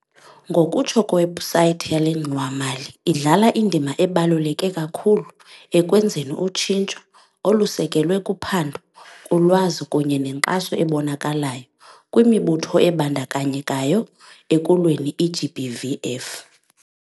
Ngokutsho kwewebhusayithi yale ngxowa-mali, idlala indima ebaluleke kakhulu ekwenzeni utshintsho, olusekelwe kuphando, kulwazi kunye nenkxaso ebonakalayo kwimibutho ebandakanyekayo ekulweni i-GBVF.